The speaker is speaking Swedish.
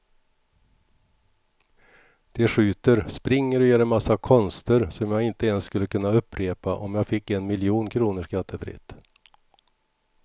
De skjuter, springer och gör en massa konster som jag inte ens skulle kunna upprepa om jag fick en miljon kronor skattefritt.